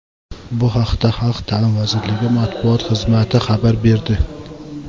Bu haqda Xalq ta’limi vazirligi matbuot xizmati xabar berdi.